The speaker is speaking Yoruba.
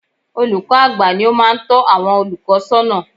Olùkọ́ àgbà ni ó máa ń tọ́ àwọn olùkọ́ sọ́nà